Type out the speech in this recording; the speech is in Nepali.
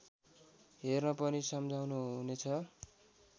हेर्न पनि सम्झाउनुहुनेछ